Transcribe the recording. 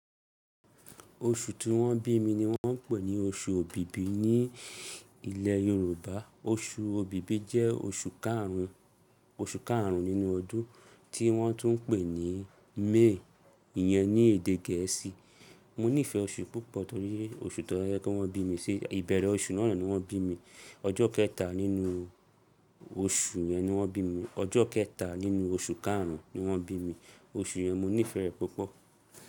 Oṣù tí wọ́n bí mi ni wọ́n ń pè ní oṣù òbìbì ní ilẹ̀ Yorùbá. Oṣù òbìbì jẹ́ oṣù karùn-ún, oṣù karùn-ún nínú ọdún tí wọ́n tún ń pè ní May ìyẹn ní èdè Gẹ̀ẹ́sì. Mo nífẹ̀ẹ́ oṣù púpọ̀ torí oṣù tó yẹ kí wọ́n bí mi sí. Ìbẹ̀rẹ̀ oṣù náà ni wọ́n bí mi, ọjọ́ kẹta nínú oṣù yẹn ni wọ́n bí mi. Ọjọ́ kẹta nínú oṣù karùn-ún ni wọ́n bí mi, oṣù yẹn mo nífẹ̀ẹ́ rẹ̀ púpọ̀.